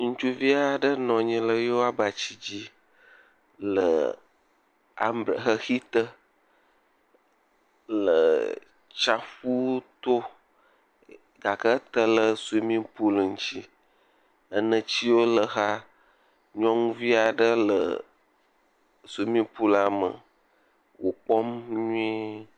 Ŋutsu vi aɖe nɔ anyi ɖe eƒe abati dzi le ambre…xexi te le tsiaƒu to gake ete ɖe swimming pool ŋuti, enetiwo le exa, nyɔnuvi aɖe le swimming pool la me wòkpɔm nyuie.